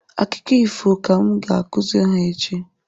Akụkọ ifo ka m ga-akụziri ha echi